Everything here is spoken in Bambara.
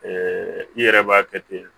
i yɛrɛ b'a kɛ ten